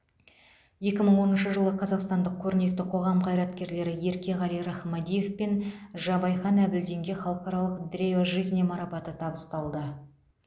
екі мың оныншы жылы қазақстандық көрнекті қоғам қайраткерлері еркеғали рахмадиев пен жабайхан әбділдинге халықаралық древа жизни марапаты табысталды